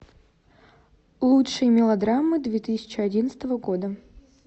лучшие мелодрамы две тысячи одиннадцатого года